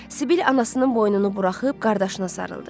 Sibil anasının boynunu buraxıb qardaşına sarıldı.